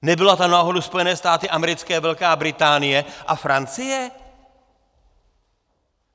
Nebyly to náhodou Spojené státy americké, Velká Británie a Francie?